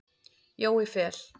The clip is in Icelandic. Jói Fel.